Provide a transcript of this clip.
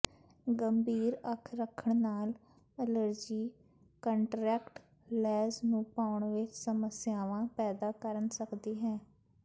ਗੰਭੀਰ ਅੱਖ ਰੱਖਣ ਨਾਲ ਅਲਰਜੀ ਕੰਨਟਰੈਕਟ ਲੈਂਜ਼ ਨੂੰ ਪਾਉਣ ਵਿੱਚ ਸਮੱਸਿਆਵਾਂ ਪੈਦਾ ਕਰ ਸਕਦੀ ਹੈ